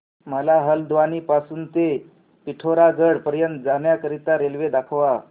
मला हलद्वानी पासून ते पिठोरागढ पर्यंत जाण्या करीता रेल्वे दाखवा